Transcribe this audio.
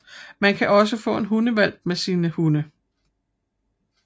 Man kan også få en hundehvalp med sine hunde